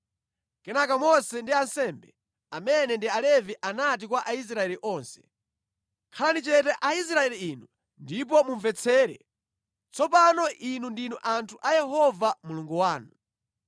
Kenaka Mose ndi ansembe, amene ndi Alevi anati kwa Aisraeli onse, “Khalani chete Aisraeli inu ndipo mumvetsere! Tsopano inu ndinu anthu a Yehova Mulungu wanu.